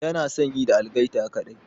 Yana son yi da algaita kaɗai.